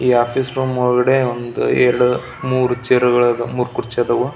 ಈ office room ಒಳಗಡೆ ಒಂದ ಎರ್ಡ್ ಮೂರೂ ಚೇರ್ಗ ಳು ಆದವು ಮೂರೂ ಕುರ್ಚಿ ಆದವು .